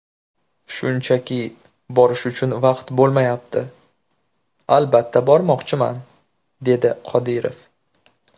Shunchaki, borish uchun vaqt bo‘lmayapti... Albatta bormoqchiman”, dedi Qodirov.